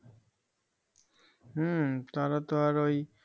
হম তারাতো আর ওই